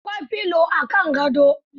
Akwai filo a kan gado.